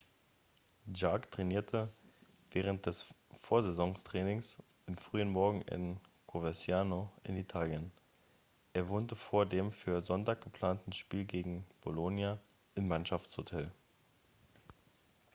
jarque trainierte während des vorsaisontrainings am frühen morgen in coverciano in italien er wohnte vor dem für sonntag geplanten spiel gegen bolonia im mannschaftshotel